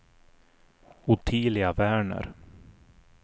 Ottilia Werner